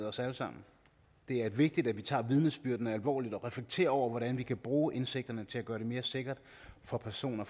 os alle sammen det er vigtigt at vi tager vidnesbyrdene alvorligt og reflekterer over hvordan vi kan bruge indsigterne til at gøre det mere sikkert for personer